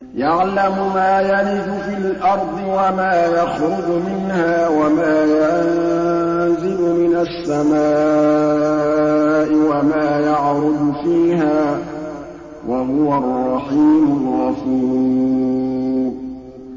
يَعْلَمُ مَا يَلِجُ فِي الْأَرْضِ وَمَا يَخْرُجُ مِنْهَا وَمَا يَنزِلُ مِنَ السَّمَاءِ وَمَا يَعْرُجُ فِيهَا ۚ وَهُوَ الرَّحِيمُ الْغَفُورُ